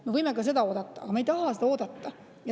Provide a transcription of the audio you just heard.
Me võime ka seda oodata, aga me ei taha seda oodata.